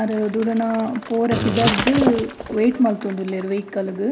ಆರ್ ದೂರನ ಪೋರೆ ಪಿದರ್ದ್ ವೈಟ್ ಮಲ್ತೊಂದುಲ್ಲೆರ್ ವೈಕಲ್ ಗು.